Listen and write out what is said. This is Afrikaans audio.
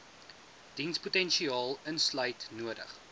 dienspotensiaal insluit nodig